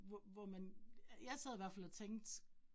Hvor hvor man, jeg sad i hvert fald og tænkte